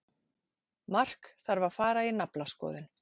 Mark þarf að fara í naflaskoðun.